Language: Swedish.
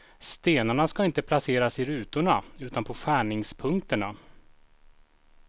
Stenarna ska inte placeras i rutorna, utan på skärningspunkterna.